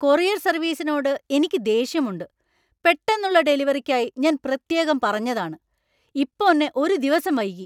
Courier സർവീസിനോട് എനിക്ക് ദേഷ്യമുണ്ട്. പെട്ടെന്നുള്ള ഡെലിവറിക്കായി ഞാൻ പ്രത്യേകം പറഞ്ഞതാണ് , ഇപ്പോന്നെ ഒരു ദിവസം വൈകി!